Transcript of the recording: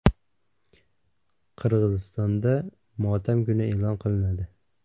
Qirg‘izistonda motam kuni e’lon qilinadi.